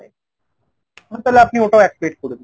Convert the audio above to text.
তালে আপনি ওটাও এক plate করে দিন।